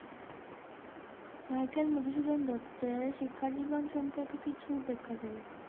Michael Madhusudan দত্তের শিক্ষা জীবন সম্পর্কে কিছু ব্যাখ্যা কর।